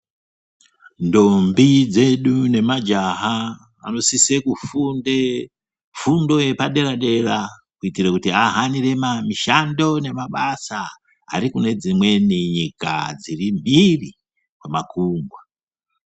Ndombi dzedu nemajaha edu anosisa kufunde fundo yepadera dera kuitira kuti ahambire mishando kune dzimweni nyika dziri mbiri kwemakumgwa.